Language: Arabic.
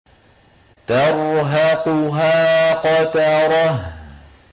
تَرْهَقُهَا قَتَرَةٌ